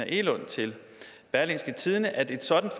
egelund til berlingske tidende at et sådant